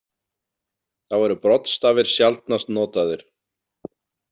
Þá eru broddstafir sjaldnast notaðir.